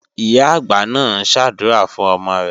Ìyá-àgbà náà ń ṣàdúrà fún ọmọ rẹ̀.